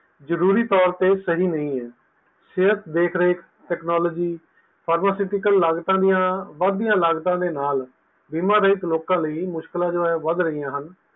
ਜਰੂਰੀ ਤੌਰ ਤੇ ਸਹੀ ਨਹੀਂ ਹੈ ਸਿਹਤ ਦੇਖ ਰੇਖ technologypharamacutical ਲਾਗਤਾਂ ਦੀਆ ਵੱਧ ਦੀਆ ਲਾਗਤਾਂ ਦੇ ਨਾਲ ਬੀਮਾ ਰਹਿਤ ਲੋਕਾਂ ਦੇ ਲਈ ਮੁਸ਼ਕਿਲਾਂ ਵੱਧ ਰਹੀਆਂ ਹਨ